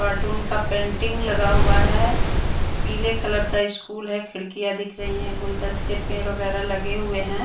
Cartoon का painting लगा हुआ है पीले कलर का स्कूल है खिड़कियाँ दिख रही हैं गुलदस्ते पेड़ वगैरह लगे हुए हैं।